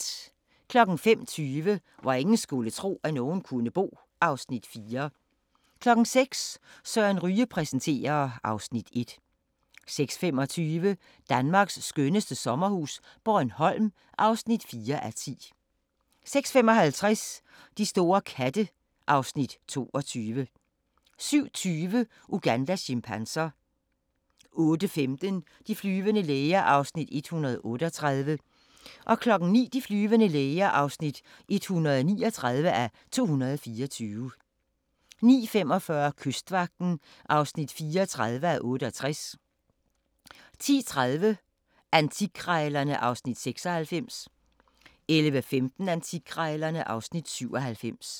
05:20: Hvor ingen skulle tro, at nogen kunne bo (Afs. 4) 06:00: Søren Ryge præsenterer (Afs. 1) 06:25: Danmarks skønneste sommerhus - Bornholm (4:10) 06:55: De store katte (Afs. 22) 07:20: Ugandas chimpanser 08:15: De flyvende læger (138:224) 09:00: De flyvende læger (139:224) 09:45: Kystvagten (34:68) 10:30: Antikkrejlerne (Afs. 96) 11:15: Antikkrejlerne (Afs. 97)